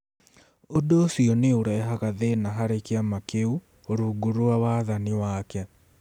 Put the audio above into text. Ũndũ ũcio nĩ ũrehaga thĩna harĩ kĩama kĩu rungu rwa wathani wake.